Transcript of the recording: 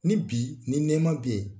Ni bi, ni nɛma be yen